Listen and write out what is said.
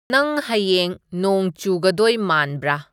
ꯅꯪ ꯍꯥꯌꯦꯡ ꯅꯣꯡ ꯆꯨꯒꯗꯣꯏ ꯃꯥꯟꯕꯔꯥ